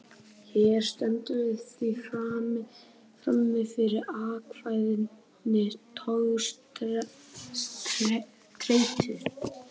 Hér stöndum við því frammi fyrir ákveðinni togstreitu.